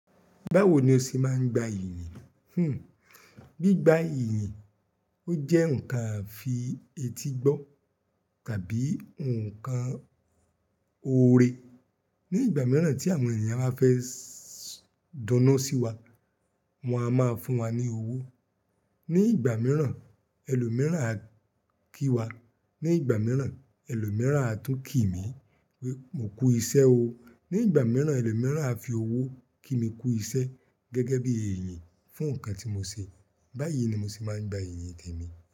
Báwo ni o ṣe máa ń gba ìyìn? Hmm, bí gba ìyìn, ó jẹ́ ǹkan àfi etígbọ́ tàbí ǹkan oore. Ni ìgbà mìíràn tí àwọn ènìyàn bá fẹ́ s dunnu sí wa, wọ́n a máa fún wa ní owó. Ni ìgbà mìíràn, ẹlòmíràn á kí wa. Ni ìgbà mìíràn, ẹlòmíràn á tún kí mi pé mo kú iṣẹ́ o. Ni ìgbà mìíràn ẹlòmíràn á fi owó kí mi kú iṣẹ́ gẹ́gẹ́ bí èyìn fún nǹkan tí mo se. Báyi ni mo ṣì máa ń gba ìyìn témi.